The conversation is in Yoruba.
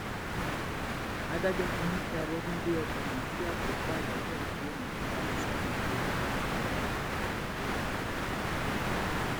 adájọ ti ní kí abọdúndé ọmọ nàìjíríà tó pàyàwó ẹ nílùú òyìnbó máa lọ sẹwọn gbére